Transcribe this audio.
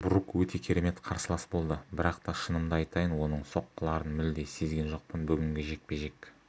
брук өте керемет қарсылас болды бірақ та шынымды айтайын оның соққыларын мүлде сезген жоқпын бүгінгі жекпе-жек